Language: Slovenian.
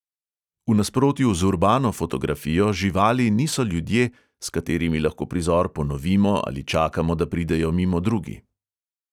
V nasprotju z urbano fotografijo živali niso ljudje, s katerimi lahko prizor ponovimo ali čakamo, da pridejo mimo drugi.